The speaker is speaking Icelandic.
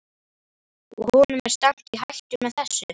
Og honum er stefnt í hættu með þessu?